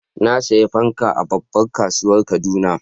nasiya fankan a babban kasuwan kaduna